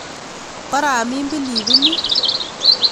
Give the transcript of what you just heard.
Koramin pilipilik